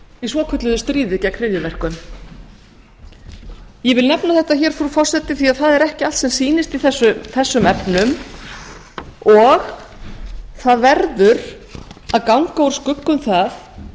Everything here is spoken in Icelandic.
í svokölluðu stríði gegn hryðjuverkum ég vil nefna þetta hér frú forseti því að það er ekki allt sem sýnist í þessum efnum og það verður að ganga úr skugga um það